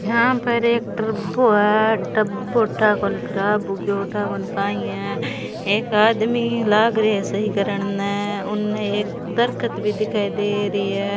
यहाँ पर एक टरबो है टरबो ठा कोनी खराब हो गया ठा कोनी काई है एक आदमी लाग रहे सही करने में उन एक दरखत भी दिखाई दे री हे।